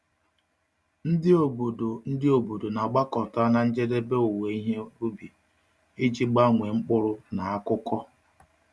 Ndị obodo Ndị obodo na-agbakọta na njedebe owuwe ihe ubi iji gbanwee mkpụrụ na akụkọ.